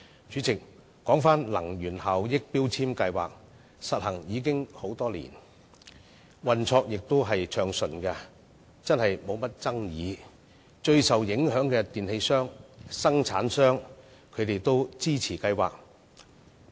主席，強制性標籤計劃已實施多年，運作亦暢順，無甚爭議，連最受影響的電器銷售商和生產商也予以支持。